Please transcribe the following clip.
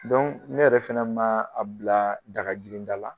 ne yɛrɛ fɛnɛ ma a bila daga giri da la.